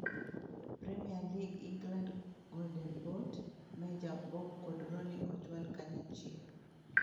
Premier League England Golden Boot: Meja, Bob kod Roony ochwal kanyachiel